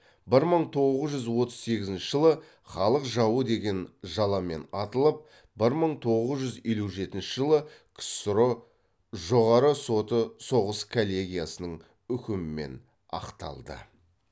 бір мың тоғыз жүз отыз сегізінші жылы халық жауы деген жаламен атылып бір мың тоғыз жүз елу жетінші жылы ксро жоғарғы соты соғыс коллегиясының үкімімен ақталды